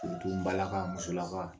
n balaka musolaka